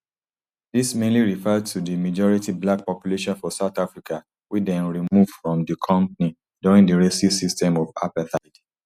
dis mainly refer to di majority black population for south africa wey dem remove from di company during di racist system of apartheid